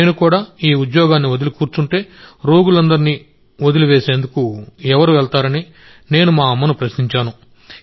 నేను కూడా ఉద్యోగాన్ని వదిలి కూర్చుంటే రోగులందరినీ వదిలివేసేందుకు ఎవరు వెళ్తారని నేను మా అమ్మను ప్రశ్నించాను